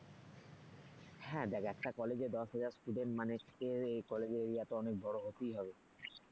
হ্যাঁ দেখ একটা কলেজে দশ হাজার student মানে কলেজের area তো অনেক বড় হতেই হবে।